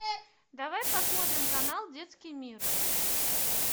давай посмотрим канал детский мир